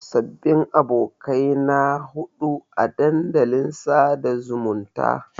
Sababbin abokai na haɗuwa a dandalin sada zumunta.